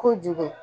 Kojugu